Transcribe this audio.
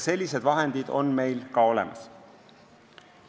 Sellised vahendid on meil ka olemas.